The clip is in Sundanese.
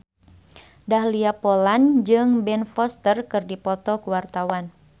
Dahlia Poland jeung Ben Foster keur dipoto ku wartawan